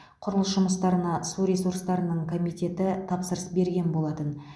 құрылыс жұмыстарына су ресурстарының комитеті тапсырыс берген болатын